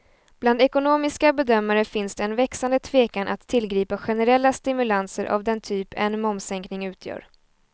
Bland ekonomiska bedömare finns det en växande tvekan att tillgripa generella stimulanser av den typ en momssänkning utgör.